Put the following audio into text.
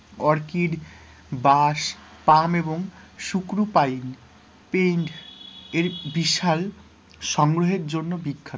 অর্কিট, বাঁশ, পাম এবং শুকরু পাইন, paint এর বিশাল সংগ্রহের জন্য বিখ্যাত,